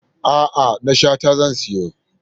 A'a, na Shata zan siyo.